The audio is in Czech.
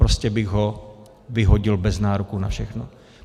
Prostě bych ho vyhodil bez nároku na všechno.